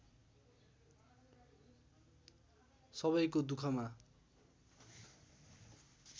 सबैको दुखमा